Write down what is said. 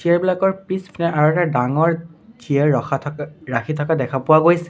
Chair বিলাকৰ পিছপিনে আৰু এটা ডাঙৰ চিয়াৰ ৰখা থকা ৰাখি থকা দেখা পোৱা গৈছে।